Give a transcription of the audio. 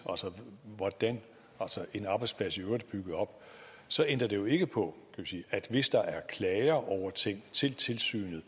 hvordan en arbejdsplads i øvrigt er bygget op så ændrer det jo ikke på at hvis der er klager til tilsynet